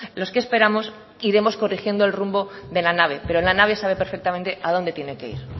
los que esperamos iremos corrigiendo el rumbo de la nave pero la nave sabe perfectamente a dónde tiene que ir